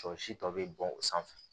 Sɔ si tɔ be bɔ o sanfɛ